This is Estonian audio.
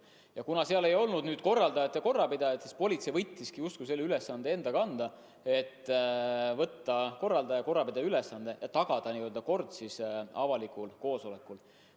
Ja kuna seal ei olnud korraldajate korrapidajat, siis politsei võttiski selle ülesande enda kanda, et tagada avalikul koosolekul kord.